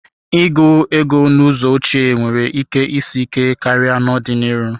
Ịgụ ego n'ụzọ ochie nwere ike isi ike karịa n'ọdịnihu.